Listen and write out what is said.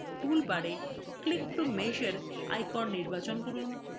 tool bar click to measure icon নির্বাচন করুন